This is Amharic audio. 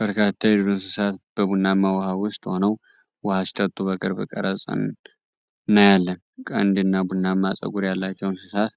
በርካታ የዱር እንስሳት በቡናማ ውኃ ውስጥ ሆነው ውኃ ሲጠጡ በቅርብ ቀርጸን እናያለን። ቀንድና ቡናማ ጸጉር ያላቸው እንስሳት